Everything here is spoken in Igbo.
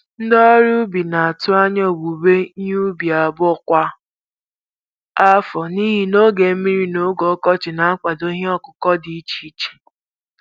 Ndị ọrụ ugbo na-atụ anya owuwe ihe ubi abụọ kwa afọ n'ihi na oge mmiri na oge oge ọkọchị ná-akwado ihe ọkụkụ dị iche iche.